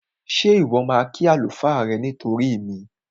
Ṣé Ìwọ́ máa kí àlùfáà rẹ nítorí mi?